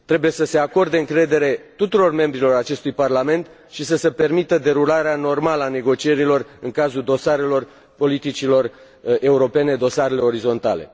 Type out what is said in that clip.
Trebuie să se acorde încredere tuturor membrilor acestui parlament și să se permită derularea normală a negocierilor în cazul dosarelor politicilor europene, dosarele orizontale.